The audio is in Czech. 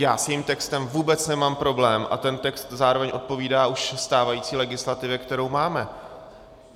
Já s tím textem vůbec nemám problém a ten text zároveň odpovídá už stávající legislativě, kterou máme.